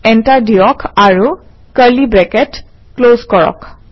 enter দিয়ক আৰু curly bracket close কৰক